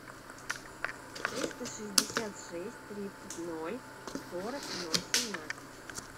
триста шестьдесят шесть тридцать ноль сорок ноль семнадцать